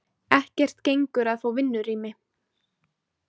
Ekkert gengur að fá vinnurými.